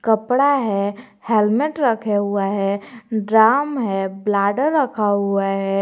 कपड़ा है हेल्मेट रखे हुआ है ड्राम है ब्लैडर रखा हुआ है।